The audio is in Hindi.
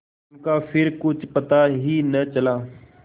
उनका फिर कुछ पता ही न चला